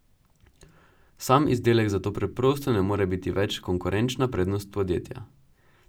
Sam izdelek zato preprosto ne more biti več konkurenčna prednost podjetja.